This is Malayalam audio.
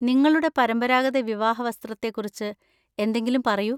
നിങ്ങളുടെ പരമ്പരാഗത വിവാഹ വസ്ത്രത്തെക്കുറിച്ച് എന്തെങ്കിലും പറയൂ.